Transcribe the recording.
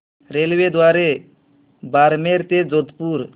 रेल्वेद्वारे बारमेर ते जोधपुर